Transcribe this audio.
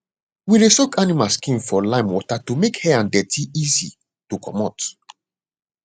we dey soak animal skin for limewater to make hair and deti dey easy to comot